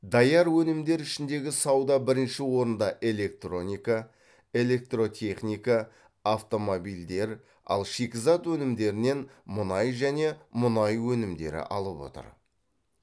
даяр өнімдер ішіндегі сауда бірінші орында электроника электротехника автомобильдер ал шикізат өнімдерінен мұнай және мұнай өнімдері алып отыр